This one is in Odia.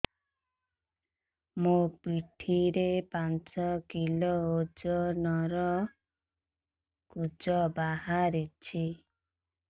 ମୋ ପିଠି ରେ ପାଞ୍ଚ କିଲୋ ଓଜନ ର କୁଜ ବାହାରିଛି